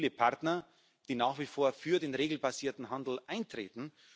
Wir haben also viele Partner, die nach wie vor für den regelbasierten Handel eintreten.